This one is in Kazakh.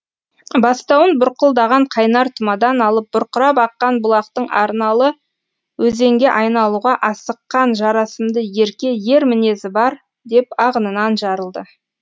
бастауын бұрқылдаған қайнар тұмадан алып бұрқырап аққан бұлақтың арналы өзенге айналуға асыққан жарасымды ерке ер мінезі бар деп ағынан жарылды